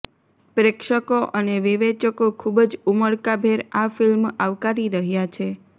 પ્રેક્ષકો અને વિવેચકો ખૂબ જ ઉમળકાભેર આ ફિલ્મ આવકારી રહ્યા છે